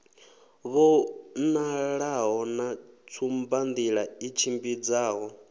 vhonalaho na tsumbanḓila i tshimbidzaho